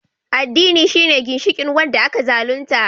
Addini shine ginshikin wanda aka zalunta